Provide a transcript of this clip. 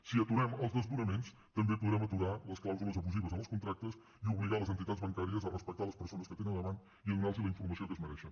si aturem els desnonaments també po·drem aturar les clàusules abusives en els contractes i obligar les entitats bancàries a respectar les persones que tenen davant i a donar·los la informació que es mereixen